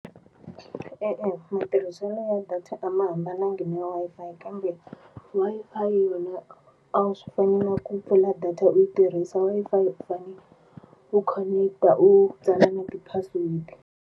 E-e, matirhiselo ya data a ma hambanangi ni Wi-Fi kambe Wi-Fi yona a swi fani na ku pfula data u yi tirhisa Wi-Fi u fane u connect-a u tsala na ti-password.